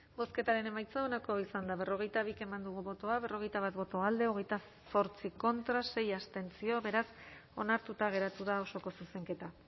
bozketaren emaitza onako izan da berrogeita bi eman dugu bozka berrogeita bat boto alde hogeita zortzi contra sei abstentzio beraz onartuta geratu da osoko zuzenketa